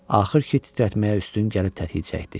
Axır ki, titrətməyə üstün gəlib tətiyi çəkdi.